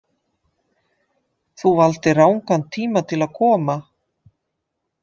Þú valdir rangan tíma til að koma.